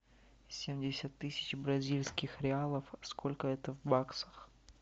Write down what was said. семьдесят тысяч бразильских реалов сколько это в баксах